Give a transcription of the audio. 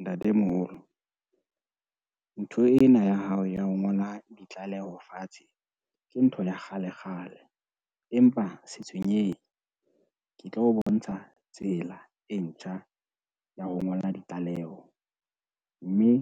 Ntatemoholo, ntho ena ya hao ya ho ngola ditlaleho fatshe ke ntho ya kgalekgale, empa se tshwenyehe ke tlo o bontsha tsela e ntjha ya ho ngola ditlaleho mme,